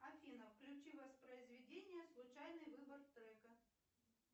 афина включи воспроизведение случайный выбор трека